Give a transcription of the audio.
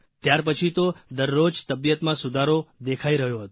ત્યારપછી તો દરરોજ તબિયતમાં સુધારો દેખાઇ રહ્યો હતો